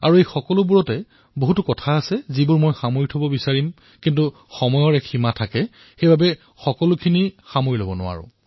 এই অসংখ্য পদক্ষেপ মই একত্ৰিত কৰিবলৈ বিচাৰো কিন্তু সময়ৰ সীমাৱদ্ধতাৰ ফলত সেয়া সম্ভৱ নহয়